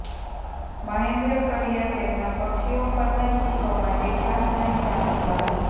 મહેન્દ્ર કડિયા તેમનાં પક્ષીઓ પરના ચિત્રો માટે ખાસ જાણીતા હતા